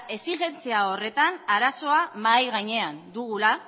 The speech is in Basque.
exijentzia horretan arazoa mahai gainean dugula